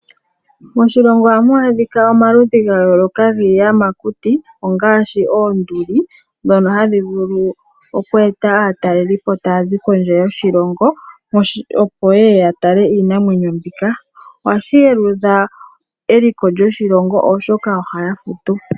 Moshilongo ohamu adhika omaludhi ga yooloka giiyamakuti ngaashi oonduli, dhono hadhi vulu oku eta aatalelipo taya zi kondje yoshilongo, opo ye ye ya tale iinamwenyo mbika. Ohashi yelutha eliko lyoshilongo, oshoka ohaya futu.